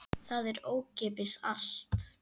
Það er ókeypis allt.